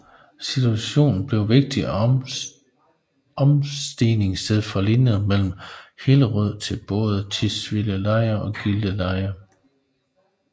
Stationen blev vigtigt omstigningssted med linjerne fra Hillerød til både Tisvildeleje og Gilleleje